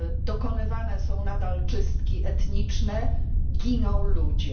Dokonywane są nadal czystki etniczne, giną ludzie.